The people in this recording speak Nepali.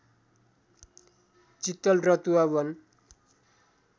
चित्तल रतुवा वन